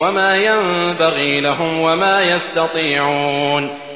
وَمَا يَنبَغِي لَهُمْ وَمَا يَسْتَطِيعُونَ